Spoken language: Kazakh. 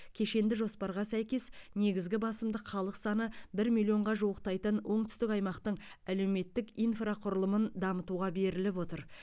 кешенді жоспарға сәйкес негізгі басымдық халық саны бір миллионға жуықтайтын оңтүстік аймақтың әлеуметтік инфрақұрылымын дамытуға беріліп отыр